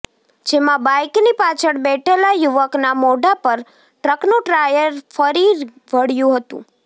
જેમાં બાઇકની પાછળ બેઠેલા યુવકના મોઢા પર ટ્રકનું ટાયર ફરી વળ્યું હતું